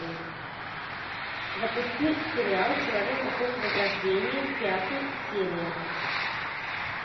запусти сериал человек эпохи возрождения пятый серия